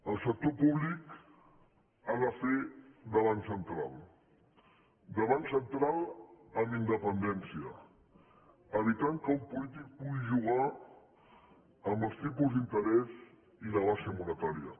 el sector públic ha de fer de banc central de banc central amb independència evitant que un polític pugui jugar amb els tipus d’inte·rès i la baixa monetària